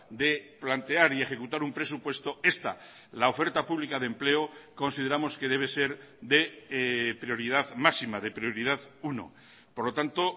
de plantear y ejecutar un presupuesto esta la oferta pública de empleo consideramos que debe ser de prioridad máxima de prioridad uno por lo tanto